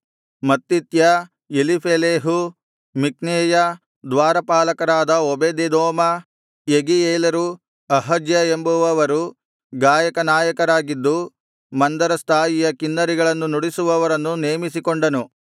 ಮತ್ತಿತ್ಯ ಎಲೀಫೆಲೇಹು ಮಿಕ್ನೇಯ ದ್ವಾರಪಾಲಕರಾದ ಓಬೇದೆದೋಮ ಯೆಗೀಯೇಲರು ಅಹಜ್ಯ ಎಂಬವರು ಗಾಯಕ ನಾಯಕರಾಗಿದ್ದು ಮಂದರಸ್ಥಾಯಿಯ ಕಿನ್ನರಿಗಳನ್ನು ನುಡಿಸುವವರನ್ನು ನೆಮಿಸಿಕೊಂಡನು